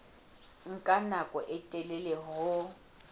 nka nako e telele ho